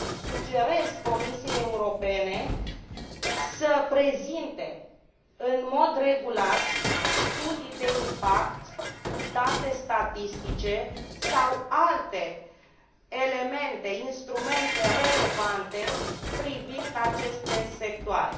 sugerez Comisiei Europene să prezinte în mod regulat studii de impact, date statistice sau alte elemente, instrumente relevante privind aceste sectoare.